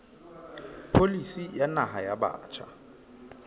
pholisi ya naha ya batjha